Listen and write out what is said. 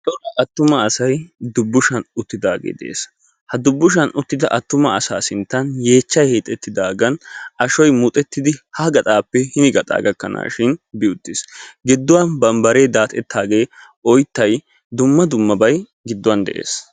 attuma assay dubushani uttiis etta sinttanikka yeechchay hiixetidagani tolsuwa giyo ashoy sinttani deessi.